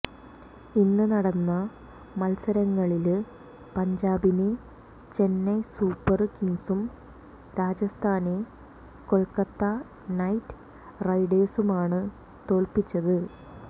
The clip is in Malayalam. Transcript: ഇന്ന് നടന്ന മല്സരങ്ങളില് പഞ്ചാബിനെ ചെന്നൈ സൂപ്പര് കിങ്സും രാജസ്ഥാനെ കൊല്ക്കത്താ നൈറ്റ് റൈഡേഴ്സുമാണ് തോല്പ്പിച്ചത്